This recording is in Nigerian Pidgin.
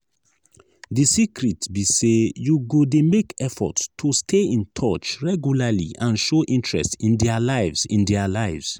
di secret be say you go dey make effort to stay in touch regularly and show interest in dia lives. in dia lives.